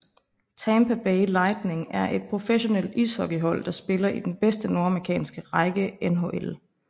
Tampa Bay Lightning er et professionelt ishockeyhold der spiller i den bedste nordamerikanske række NHL